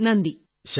phone call അവസാനിച്ചു